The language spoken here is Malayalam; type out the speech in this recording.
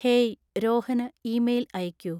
ഹേയ്, രോഹന് ഇമെയിൽ അയയ്ക്കൂ.